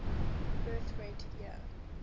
birth rate year